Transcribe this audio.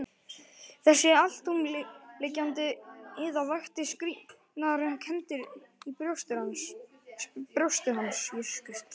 Þessi alltumlykjandi iða vakti skrýtnar kenndir í brjósti hans.